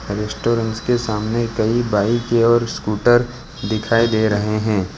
Restaurant के सामने कई बाइक और स्कूटर दिखाई दे रहे हैं।